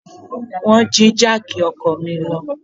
Wọ́n jí jáàkì ọkọ̀ mi lọ.